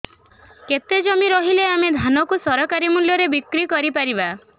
କେତେ ଜମି ରହିଲେ ଆମେ ଧାନ କୁ ସରକାରୀ ମୂଲ୍ଯରେ ବିକ୍ରି କରିପାରିବା